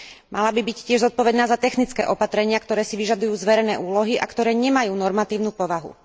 Mala by byť tiež zodpovedná za technické opatrenia, ktoré si vyžadujú zverené úlohy a ktoré nemajú normatívnu povahu.